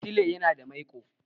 Atile yana da maiƙo.